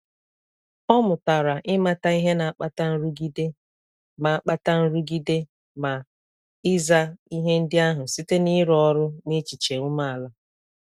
Ọ mụtara ịmata ihe na akpata nrụgide ma akpata nrụgide ma ị za ihe ndi ahu site n'ịrụ ọrụ n'echiche ume ala.